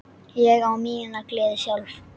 Ég á mína gleði sjálf.